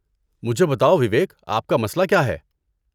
مجھے بتاؤ، وویک، آپ کا مسئلہ کیا ہے؟